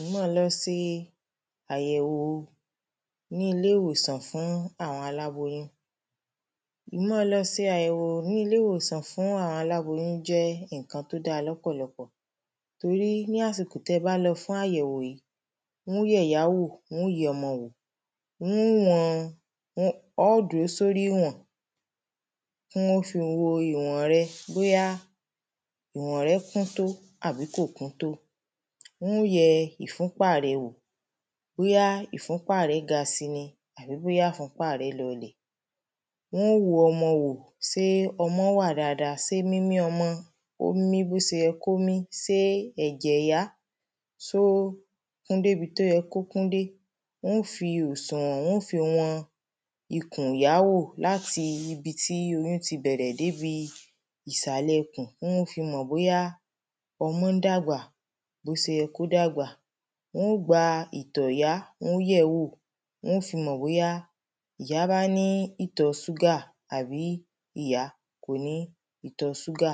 ì má lo se àyẹ̀wo ní ilé ìwòsàn fún àwọn aláboyún ì má lo se àyèwò ní ilé ìwòsàn fún àwọn aláboyún jẹ́ ǹkan tó da lọ́pọ̀lọpọ̀ torí ní àsìkò tẹ bá lọ fún àyèwò yìí wọ́n yẹ ìyá wò wọ́n yẹ ọmọ wò wọ́n ó wọn ọ́ dúró sórí ìwọ̀n wọ́n ó fi wọn ìwọ̀n rẹ̀ bóyá ìwọ̀n rẹ̀ kúntó àbí kò kúntó wọ́n ó yẹ ìfúnpá rẹ̀ wò bóyá ìfúnpá rẹ̀ ga si ni àbí bóyá ìfúnpá rẹ̀ lọ lẹ̀ wọ́n ó wo ọmọ wò sé ọmọ wa dada sé mímí ọmọ ó ń mí bó se yẹ kó mí sé ẹ̀jẹ̀ yá só kún débi tó yẹ kó kún dé wọ́n ó fi òsùwọ̀n wọ́n ó fi wọn ikùnyá wò láti ibi tí oyún ti bẹ̀rẹ débi ìsàlẹ̀ kùn kí wọn ó fi mọ̀ bóyá ọmọ ń dàgbà bó bó se yẹ kó dàgbà wọ́n ó gba ìtọ̀ ìyá wọ́n ó yẹ̀ẹ́ wò wọ́n ó fi mọ̀ bóyá ìyá bá ní ìtọ̀ ṣúgà àbí ìyá kò ní ìtọ̀ ṣúgà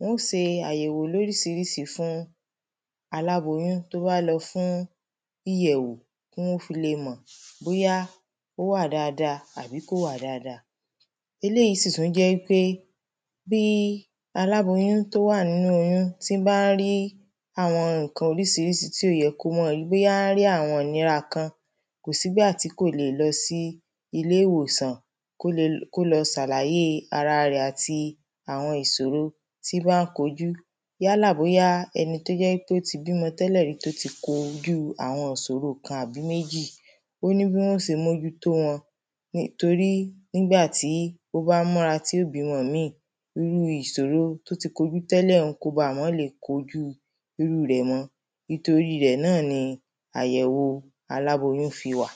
wọ́n se àyèwò lórísirísí fún aláboyún tó bá lọ fún iyẹ̀wọ̀ kí wọ́n o fi le mọ́ bóyá ó wà daada àbí kò wà daada eléyi sì tú jẹ́ í pé kí aláboyún tó wà nínú oyún tí bá ń rí àwọn ǹkan orísirísi tí ò yẹ kó mọ rí bóyá ń rí àwọn ìnira kan kò sí gbà tí kò le lọ sí iléwòsàn kó lo sàlàyée ara rẹ̀ àti àwọn ìsòro tí bá ń kojú yálà bóyá ẹni tó jẹ́ í pé ó ti bímọ tẹ́lẹ̀ rí ó ti ko ojú àwọn isoro kan àbi méjì ó ní bí wọn ó se mójú tó wọn torí nígbà tí ó bá ń múra tí ó bímọ míì irú isoro tó ti kojú tẹ́lẹ̀ un kó bà mọ́ le kojú irú rẹ̀ mọ́ nítorí rẹ̀ náà ni àyẹ̀wo aláboyún fi wà